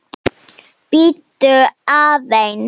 Bíddu aðeins